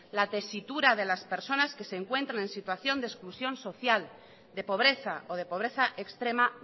la tesitura de las personas que se encuentran en situación de exclusión social de pobreza o de pobreza extrema